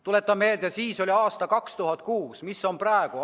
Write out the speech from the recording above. Tuletan meelde, et siis oli aasta 2006. Mis seis on praegu?